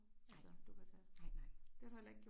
Nej nej nej